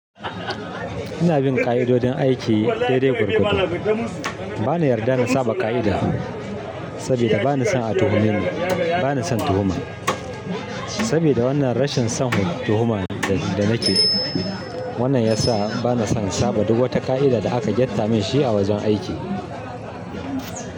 Ina bin ka'idodin aiki daidai gwargwado. Bana yarda da saba ka'ida, sabida bani son a tuhume ni. Bani son tuhuma. Sabida wannan rashin son tuhuma da nake, wannan yasa bana son saba duk wata ka'ida da aka gyatta min shi a wajen aiki.